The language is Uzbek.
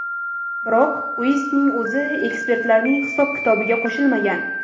Biroq Uestning o‘zi ekspertlarning hisob-kitobiga qo‘shilmagan.